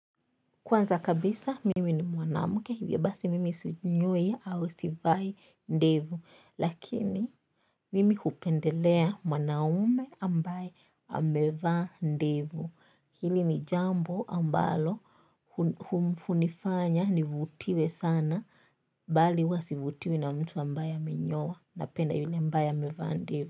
Kwanza kabisa mimi ni mwanamke hivyo basi mimi sinyoi au sivai ndevu. Lakini mimi hupendelea mwanaume ambaye amevaa ndevu. Hili ni jambo ambalo hunifanya nivutiwe sana bali huwa sivutiwi na mtu ambaye amenyoa napenda yule ambaye amevaa ndevu.